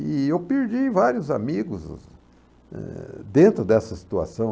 E eu perdi vários amigos eh dentro dessa situação.